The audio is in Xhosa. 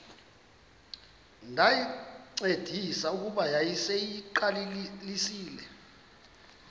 ndayincedisa kuba yayiseyiqalisile